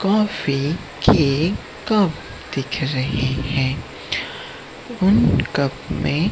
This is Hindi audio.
कॉफ़ी के कप दिखे रहे हैं उन कप में--